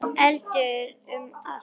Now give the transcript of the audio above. Eldur um allt.